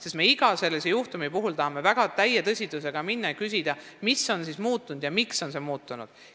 Me tahame igasse juhtumisse suhtuda täie tõsidusega ja uurida, mis on muutunud ja miks on muutunud.